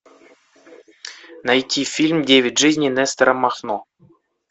найти фильм девять жизней нестора махно